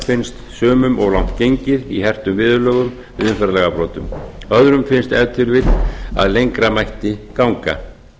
finnst sumum of langt gengið í hertum viðurlögum í umferðarlagabrotum öðrum finnst ef til vill að lengra mætti ganga